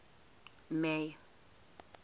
may